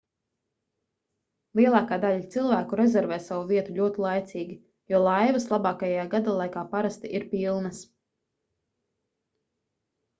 lielākā daļa cilvēku rezervē savu vietu ļoti laicīgi jo laivas labākajā gadalaikā parasti ir pilnas